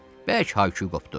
Bərk hay-küy qopdu.